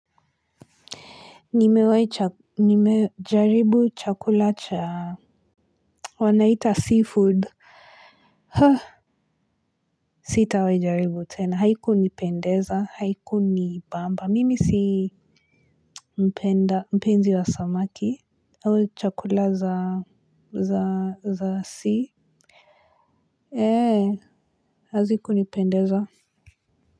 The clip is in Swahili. Nimejaribu chakula cha wanaita seafood. Sitawahi jaribu tena. Haiku nipendeza. Haiku nipamba. Mimi si mpenda mpenzi wa samaki. Au chakula za sea ee hazikunipendeza.